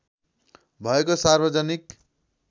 भएको सार्वजनिक